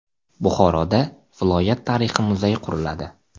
Buxoroda viloyat tarixi muzeyi quriladi.